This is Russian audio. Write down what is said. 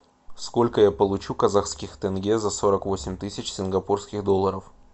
сколько я получу казахских тенге за сорок восемь тысяч сингапурских долларов